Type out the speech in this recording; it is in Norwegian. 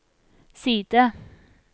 side